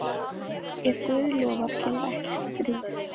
Ef Guð lofar kemur ekkert stríð.